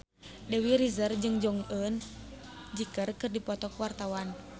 Dewi Rezer jeung Jong Eun Ji keur dipoto ku wartawan